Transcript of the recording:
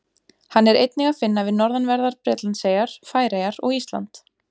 Hann er einnig að finna við norðanverðar Bretlandseyjar, Færeyjar og Ísland.